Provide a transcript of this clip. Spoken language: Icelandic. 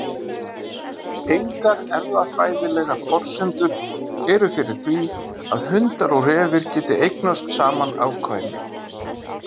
Engar erfðafræðilegar forsendur eru fyrir því að hundar og refir geti eignast saman afkvæmi.